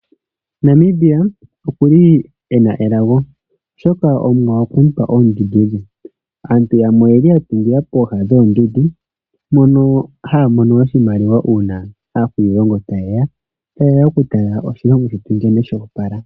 Namibia okuli ena elago oshoka Omuwa okwe mupa oondundu dhe. Aantu yamwe oyeli ya tungila pooha dhoondundu. Mono yeli haa mono oshimaliwa una aakwiilongo tayeya oku tala oshilongo shetu nkene shili shoopala.